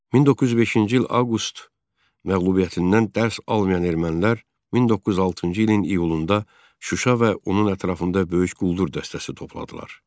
1905-ci il avqust məğlubiyyətindən dərs almayan ermənilər 1906-cı ilin iyulunda Şuşa və onun ətrafında böyük quldur dəstəsi topladılar.